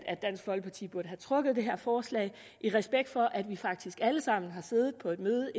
at dansk folkeparti burde have trukket det her forslag i respekt for at vi faktisk alle sammen har siddet på et møde